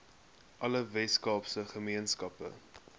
alle weskaapse gemeenskappe